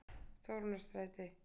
Þórunnarstræti